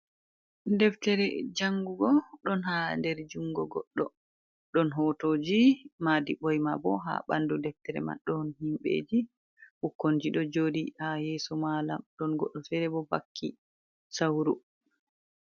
Ɗeftere jangu go don ha nder jungo goddo ɗon hotoji maɗi ɓoima ɓo ha ɓandu deftere man don himbeji ɓukkonji do jodi ha yeso malam don goddo fere bo vakki sauru.